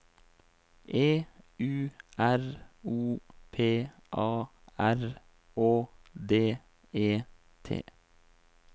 E U R O P A R Å D E T